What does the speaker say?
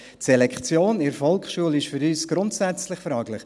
Die Selektion in der Volksschule ist für uns grundsätzlich fraglich.